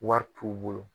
Wari t'u bolo